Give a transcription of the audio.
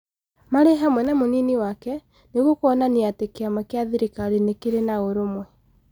Marĩ hamwe na mũnini wake ,nĩguo kuonania atĩ kĩama kĩa thirikari nĩ kĩrĩ na ũrũmwe.